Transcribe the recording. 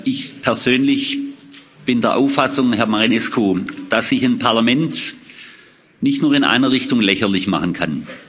Ich persönlich bin der Auffassung, Herr Marinescu, dass sich ein Parlament nicht nur in einer Richtung lächerlich machen kann.